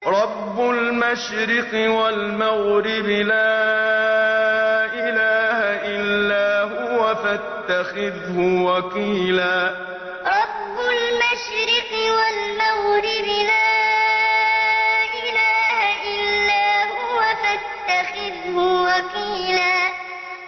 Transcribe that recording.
رَّبُّ الْمَشْرِقِ وَالْمَغْرِبِ لَا إِلَٰهَ إِلَّا هُوَ فَاتَّخِذْهُ وَكِيلًا رَّبُّ الْمَشْرِقِ وَالْمَغْرِبِ لَا إِلَٰهَ إِلَّا هُوَ فَاتَّخِذْهُ وَكِيلًا